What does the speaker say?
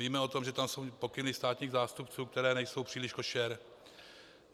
Víme o tom, že tam jsou pokyny státních zástupců, které nejsou příliš košer.